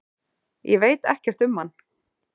Ég veit ekkert um hann